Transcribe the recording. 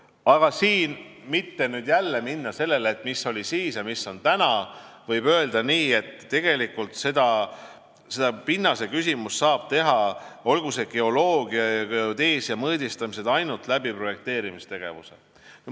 Aga et mitte nüüd jälle minna selle peale, et mis oli siis ja mis on täna, võib öelda, et tegelikult seda pinnaseküsimust saab selgitada, olgu selleks vahendiks siis geoloogia- ja geodeesiamõõdistamised, ainult projekteerimistegevuse kaudu.